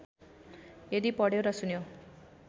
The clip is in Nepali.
यदि पढ्यो र सुन्यो